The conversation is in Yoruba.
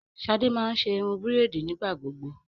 Shade má n ṣe irun braidi nigbagbogbo